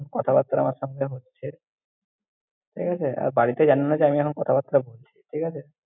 কথাবাত্রা আমার সঙ্গে হচ্ছে ঠিক আছে! আর বাড়িতে জানে যে আমি এখন কথাবাত্রা বলছি, ঠিক আছে।